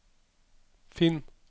finn